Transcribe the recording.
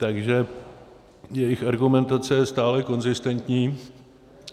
Takže jejich argumentace je stále konzistentní.